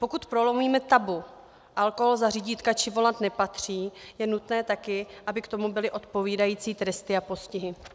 Pokud prolomíme tabu - alkohol za řídítka či volant nepatří - je nutné taky, aby k tomu byly odpovídající tresty a postihy.